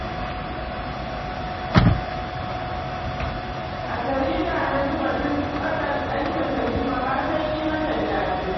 A jarida na ji batun ɓatan ɗanta Tanimu har na yi mata jaje